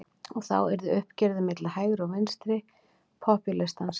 Og þá yrði uppgjörið milli hægri og vinstri popúlistans.